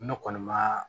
Ne kɔni ma